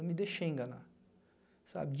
Eu me deixei enganar, sabe?